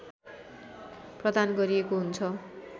प्रदान गरिएको हुन्छ